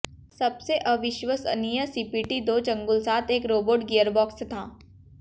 सबसे अविश्वसनीय सीपीटी दो चंगुल साथ एक रोबोट गियरबॉक्स था